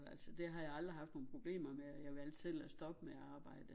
Altså det har jeg aldrig haft nogen problemer med og valgte selv at stoppe med at arbejde